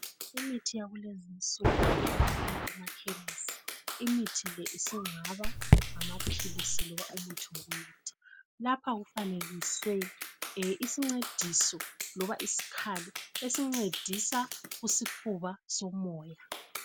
Imithi yakulezi insuku itholakala emakhemesi imithi le singaba ngamaphilisi loba umuthi wokunatha. Lapha kufanekiswe isincediso loba isikhali esincedisa kusifuba somoya.